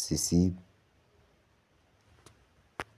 sisit.